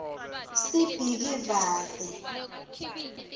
sibhikivaze